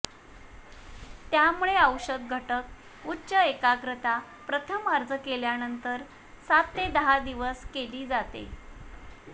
त्यामुळे औषध घटक उच्च एकाग्रता प्रथम अर्ज केल्यानंतर सात ते दहा दिवस केली जाते